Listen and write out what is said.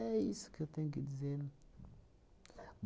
É isso que eu tenho que dizer.